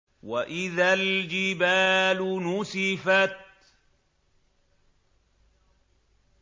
وَإِذَا الْجِبَالُ نُسِفَتْ